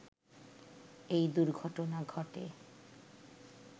এই দূর্ঘটনা ঘটে